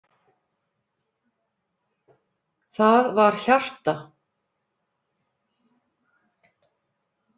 Það var hjarta!